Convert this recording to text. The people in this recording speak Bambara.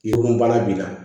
I ko baara b'i la